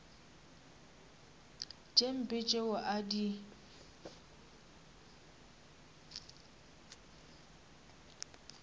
tše mpe tšeo a di